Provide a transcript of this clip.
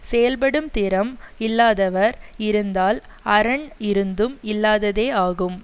செயல்படும் திறம் இல்லாதவர் இருந்தால் அரண் இருந்தும் இல்லாததே ஆகும்